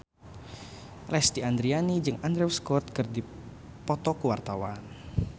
Lesti Andryani jeung Andrew Scott keur dipoto ku wartawan